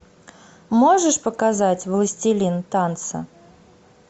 можешь показать властелин танца